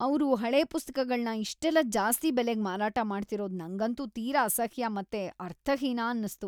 ಅವ್ರು ಹಳೆ ಪುಸ್ತಕಗಳ್ನ ಇಷ್ಟೆಲ್ಲ ಜಾಸ್ತಿ ಬೆಲೆಗ್ ಮಾರಾಟ ಮಾಡ್ತಿರೋದು ನಂಗಂತೂ ತೀರಾ ಅಸಹ್ಯ ಮತ್ತೆ ಅರ್ಥಹೀನ ಅನ್ಸ್ತು.